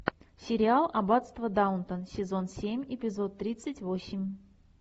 сериал аббатство даунтон сезон семь эпизод тридцать восемь